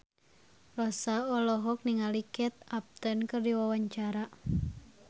Rossa olohok ningali Kate Upton keur diwawancara